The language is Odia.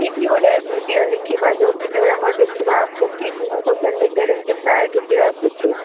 କିଛି ଗୋଟେ video ଦେଖିବା ଯଉ video ରେ ଆମର ଦେଖିବା ଉଚିତ ନୁହଁ social media ରେ ଏମିତି ପ୍ରାୟ video ଆସୁଛି